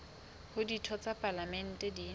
hore ditho tsa palamente di